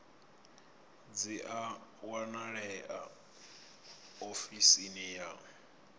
dzi a wanalea ofisini ya